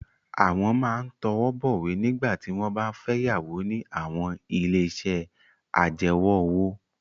Àwọn máa ń tọwọ́ bọ̀wé nígbà tí wọ́n bá ń fẹ́ yáwó ní àwọn ilé-iṣẹ́ ajẹwọ́-òwò.